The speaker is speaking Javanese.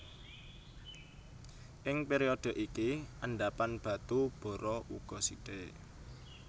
Ing période iki endhapan batu bara uga sithik